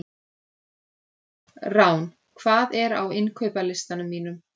Rán, hvað er á innkaupalistanum mínum?